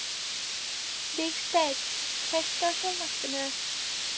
Vígsteinn, kveiktu á sjónvarpinu.